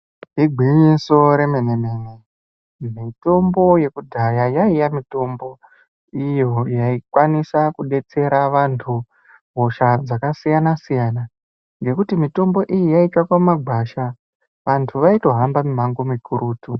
Igwinyiso remenemene mitombo yekudhaya yaiya mitombo iyo yaikwanisa kudetsera vantu hosha dzakasiyanasiyana ngekuti mitombo iyi yaitsvakwa mumagwasha vantu vaito hamba mimango mikurutu.